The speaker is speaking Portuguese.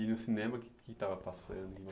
E no cinema, o que que estava passando?